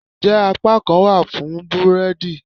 njẹ apakan wa fún búredì?